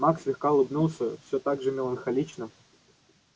маг слегка улыбнулся всё так же меланхолично